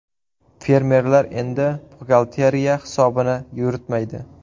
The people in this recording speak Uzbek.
Fermerlar endi buxgalteriya hisobini yuritmaydi.